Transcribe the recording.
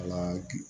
Ala ki